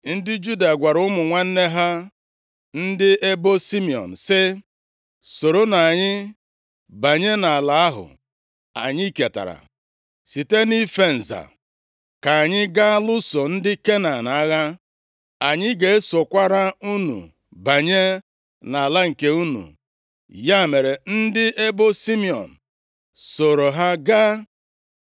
Ndị Juda gwara ụmụ nwanne ha ndị ebo Simiọn sị, “Soronụ anyị banye nʼala ahụ anyị ketara site nʼife nza, ka anyị ga lụso ndị Kenan agha. Anyị ga-esokwara unu banye nʼala nke unu.” Ya mere, ndị ebo Simiọn + 1:3 Ebo Simiọn na ebo Juda si nʼagbụrụ Lịa \+xt Nkp 1:17\+xt* soro ha gaa.